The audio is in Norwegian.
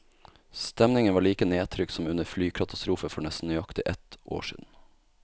Stemningen var like nedtrykt som under flykatastrofen for nesten nøyaktig ett år siden.